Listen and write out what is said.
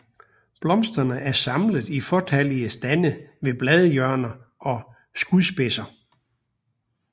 Blomsterne er samlet i fåtallige stande ved bladhjørner og skudspidser